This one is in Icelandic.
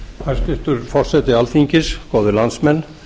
hæstvirtur forseti alþingis góðir landsmenn